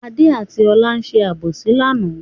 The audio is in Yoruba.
Adé àti Ọlá ṣe àbòsí lánàá.